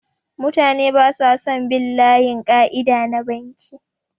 Mutane basa son bin layin ƙaida na banki